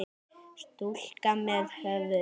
Stúlka með höfuð.